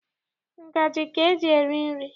Ngaji ka e ji eri nri.